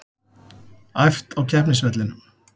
Æft á keppnisvellinum